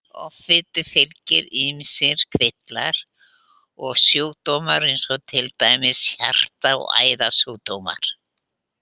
Offitu fylgja ýmsir kvillar og sjúkdómar eins og til dæmis hjarta- og æðasjúkdómar.